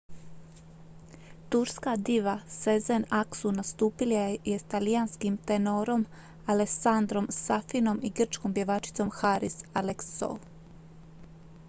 turska diva sezen aksu nastupila je s talijanskim tenorom alessandrom safinom i grčkom pjevačicom haris alexiou